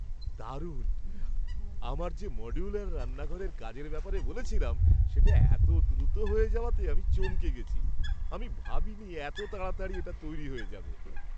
দারুণ! আমার যে মডুলার রান্নাঘরের কাজের ব্যাপারে বলেছিলাম, সেটা এতো দ্রুত হয়ে যাওয়াতে আমি চমকে গেছি! আমি ভাবিনি এতো তাড়াতাড়ি এটা তৈরি হয়ে যাবে।